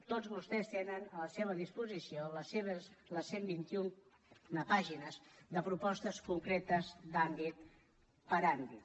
tots vostès tenen a la seva disposició les cent i vint un pàgines de propostes concretes àmbit per àmbit